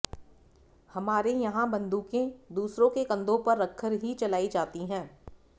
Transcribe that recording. हमारे यहां बंदूकें दूसरों के कंधों पर रखकर ही चलाई जाती है